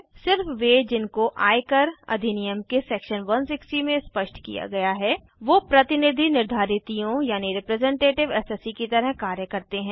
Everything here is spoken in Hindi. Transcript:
सिर्फ वे जिनको आय कर अधनियम के सेक्शन 160 में स्पष्ट किया गया है वो प्रतिनिधि निर्धारितियों की तरह कार्य करते है